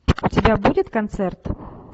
у тебя будет концерт